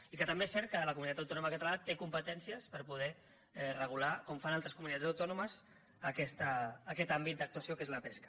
i que també és cert que la comunitat autònoma catalana té competències per poder regular com fan altres comunitats autònomes aquest àmbit d’actuació que és la pesca